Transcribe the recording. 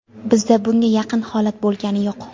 Bizda bunga yaqin holat bo‘lgani yo‘q.